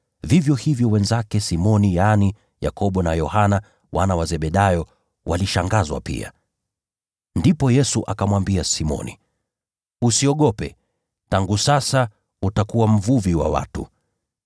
Vivyo hivyo wenzake Simoni, yaani Yakobo na Yohana, wana wa Zebedayo, walishangazwa pia. Ndipo Yesu akamwambia Simoni, “Usiogope, tangu sasa utakuwa mvuvi wa watu.”